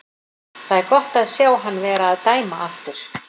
Það er gott að sjá hann vera að dæma aftur.